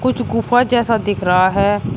कुछ गुफा जैसा दिख रहा है।